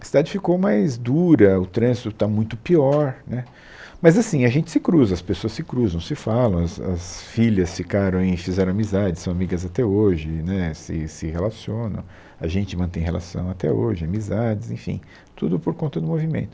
A cidade ficou mais dura, o trânsito está muito pior, né, mas assim, a gente se cruza, as pessoas se cruzam, se falam, as as filhas ficaram em, fizeram amizades, são amigas até hoje, né se se relacionam, a gente mantém relação até hoje, amizades, enfim, tudo por conta do movimento.